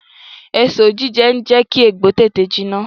Èso jíjẹ n jẹ́ kí egbò tètè jiná